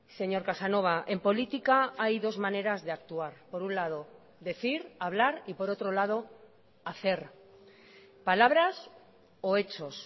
señor casanova en política hay dos maneras de actuar por un lado decir hablar y por otro lado hacer palabras o hechos